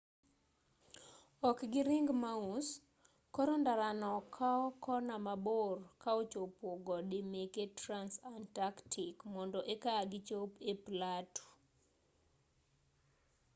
ok gi ring mos koro ndarano kao kona mabor ka ochopo gode meke transantarctic mondo eka gichop e platu